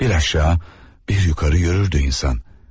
Bir aşağı, bir yuxarı yürürdü insan.